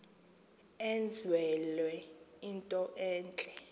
enzelwe into entle